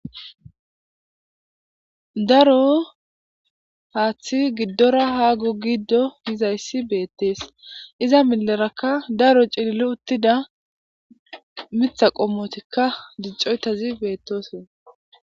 daro haaththi giddora ha gu giddo yizayssi beettees iza milerakka daro ciilli uttida mitha qommotikka dicoytazi beettosin